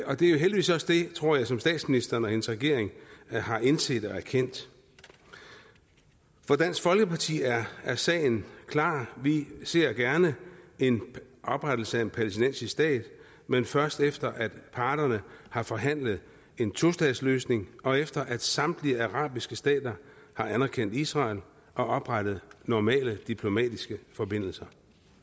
det er jo heldigvis også det tror jeg som statsministeren og hendes regering har indset og erkendt for dansk folkeparti er er sagen klar vi ser gerne en oprettelse af en palæstinensisk stat men først efter at parterne har forhandlet en tostatsløsning og efter at samtlige arabiske stater har anerkendt israel og oprettet normale diplomatiske forbindelser